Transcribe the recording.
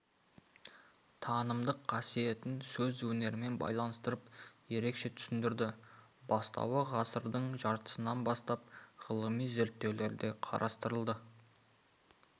танымдық қасиетін сөз өнерімен байланыстырып ерекше түсіндірді бастауы ғасырдың жартысынан бастап ғылыми зерттеулерде қарастырылды